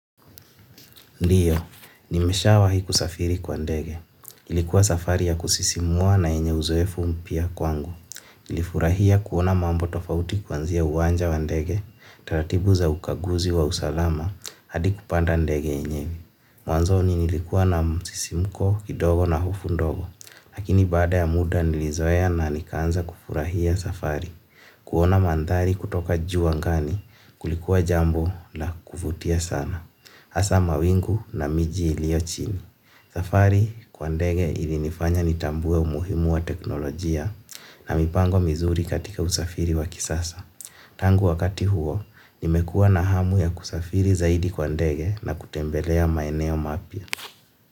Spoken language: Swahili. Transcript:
Ndiyo, nimeshawahi kusafiri kwa ndege. Ilikuwa safari ya kusisimua na yenye uzoefu mpya kwangu. Nilifurahia kuona mambo tofauti kuanzia uwanja wa ndege, taratibu za ukaguzi wa usalama, hadi kupanda ndege yenye. Mwanzoni nilikuwa na msisimuko kidogo na hofu ndogo. Lakini baada ya muda nilizoea na nikaanza kufurahia safari. Kuona mandhari kutoka juu angani, kulikuwa jambo na kuvutia sana. Hasa mawingu na miji ilio chini. Safari kwa ndege ilinifanya nitambue umuhimu wa teknolojia na mipango mizuri katika usafiri wa kisasa. Tangu wakati huo, nimekua na hamu ya kusafiri zaidi kwa ndege na kutembelea maeneo mapya.